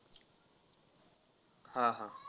हा हा.